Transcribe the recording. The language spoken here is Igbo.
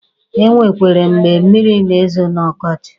E nwekwere mgbe mmịrị na-ezo n'ọkọchị.